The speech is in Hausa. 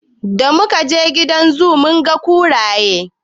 Da mu kaje gidan zoo mun ga kuraye.